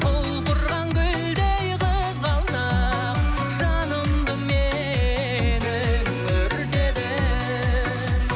құлпырған гүлдей қызғалдақ жанымды менің өртедің